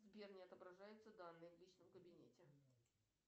сбер не отображаются данные в личном кабинете